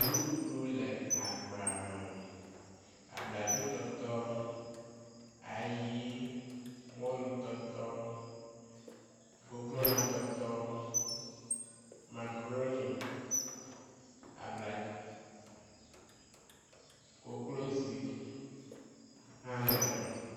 Nuɖuɖu le agba me. Abladzotɔtɔ, ayi, mɔlutɔtɔ, kokolatɔtɔ, makaɖoni, abla, koklozi hã le eme.